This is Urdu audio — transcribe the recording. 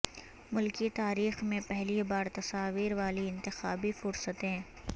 ملکی تاریخ میں پہلی بار تصاویر والی انتخابی فہرستیں